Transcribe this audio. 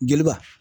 Jeliba